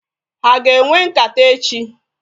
Ha aga enwe nkata echi?